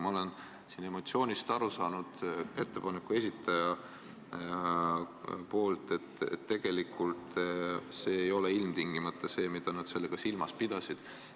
Ma olen siin ettepaneku esitajate emotsioonidest aru saanud, et tegelikult see ei ole ilmtingimata see, mida nad silmas pidasid.